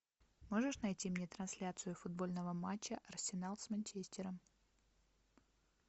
можешь найти мне трансляцию футбольного матча арсенал с манчестером